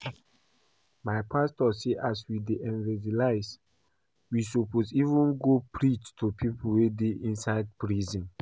My pastor say as we dey evangelise, we suppose even go preach to people wey dey inside prison